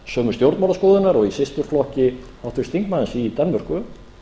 sömu stjórnmálaskoðunar og í systurflokki háttvirts þingmanns í danmörku